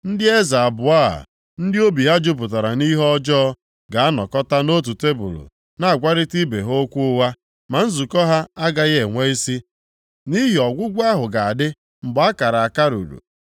Ndị eze abụọ a, ndị obi ha jupụtara nʼihe ọjọọ ga-anọkọta nʼotu tebul na-agwarịta ibe ha okwu ụgha, ma nzukọ ha agaghị enwe isi, nʼihi ọgwụgwụ ahụ ga-adị mgbe a kara aka ruru.